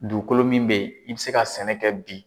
Dugukolo min bɛ ye i bɛ se ka sɛnɛ kɛ bi.